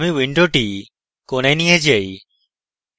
আমি window কোণায় নিয়ে যাই